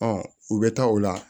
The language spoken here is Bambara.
u bɛ taa o la